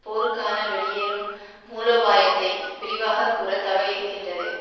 போருக்கான வெளியேறும் மூலோபாயத்தை விரிவாக கூறத்தவறியிருக்கின்றது